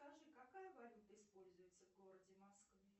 скажи какая валюта используется в городе москве